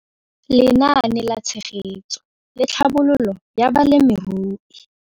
Lenaane la Tshegetso le Tlhabololo ya Balemirui.